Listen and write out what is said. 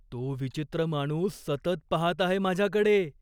तो विचित्र माणूस सतत पाहत आहे माझ्याकडे.